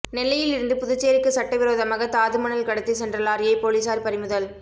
நெல்லையில் இருந்து புதுச்சேரிக்கு சட்ட விரோதமாக தாதுமணல் கடத்தி சென்ற லாரியை போலீசார் பறிமுதல்